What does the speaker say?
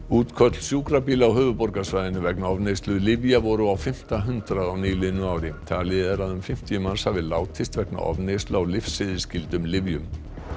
útköll sjúkrabíla á höfuðborgarsvæðinu vegna ofneyslu lyfja voru á fimmta hundrað á nýliðnu ári talið er að um fimmtíu manns hafi látist vegna ofneyslu á lyfseðilsskyldum lyfjum